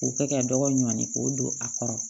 K'o kɛ ka dɔgɔ ɲɔni k'o don a kɔrɔ